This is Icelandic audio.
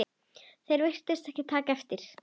Þeir virtust ekki taka eftir